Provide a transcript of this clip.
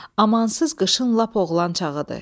Amansız qışın lap oğlan çağıdır.